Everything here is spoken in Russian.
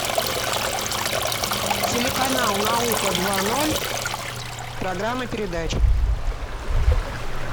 телеканал наука два ноль программа передач